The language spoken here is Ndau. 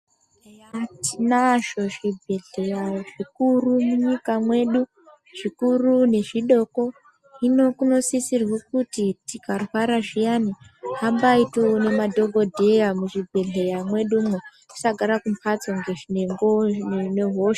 Eya tinazvo zvibhedhlera zvikuru munyika mwedu zvikuru nezvidoko hino kunosisirwa kuti tikarwara zviyani hambai toona madhokodheya mwedu umu tisagara mumbatso nehosha.